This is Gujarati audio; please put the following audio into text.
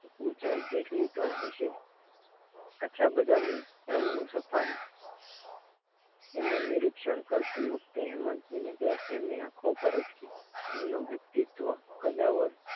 ઊંચાઈ જેટલી તો હશ અચ્છા બદામી રંગનું સફાર તેમનું નિરીક્ષણ કરતી વખતે હેમંત ની નજર એમની આંખો ઉપર જ એમનું વ્યક્તિત્વ કદાવર